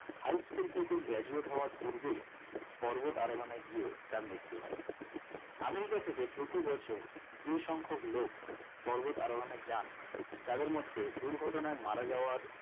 high school থেকে graduate হওয়ার পূর্বেই পর্বত আরোহণে গিয়ে তার মৃতু হয় আমেরিকা থেকে প্রতিবছর যে সংখক লোক পর্বত আরোহণে যান তাদের মধ্যে দুর্ঘটনায় মারা যাওয়ার